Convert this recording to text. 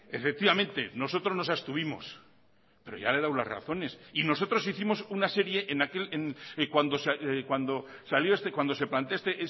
efectivamente nosotros nos abstuvimos pero ya le he dado las razones y nosotros hicimos una serie cuando se plantea esta